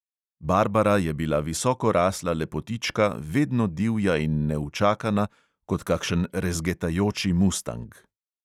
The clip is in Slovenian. Barbara je bila visokorasla lepotička, vedno divja in neučakana kot kakšen rezgetajoči mustang.